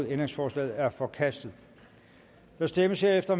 ændringsforslaget er forkastet der stemmes herefter